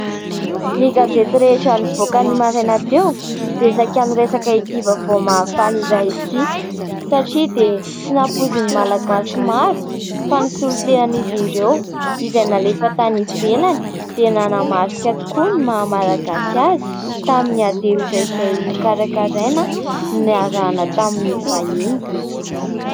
Ny gazety rehetra nivoaka ny maraina teo dia saika niresaka ity vaovao mahafaly iray ity satria dia tsy nampoizin'ny Malagasy maro fa ny solotenan'izy ireo izay nalefa tany ivelany dia nanamarika tokoa ny maha-malagasy azy tamin'ny ady hevitra izay nokarakaraina niarahana tamin'ny vahiny.